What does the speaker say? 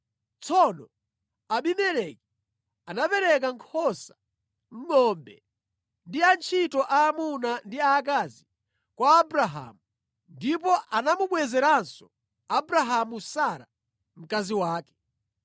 Tsono Abimeleki anapereka nkhosa, ngʼombe ndi antchito aamuna ndi aakazi kwa Abrahamu. Ndipo anamubwezeranso Abrahamu Sara, mkazi wake.